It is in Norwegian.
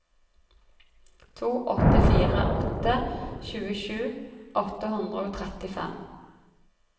to åtte fire åtte tjuesju åtte hundre og trettifem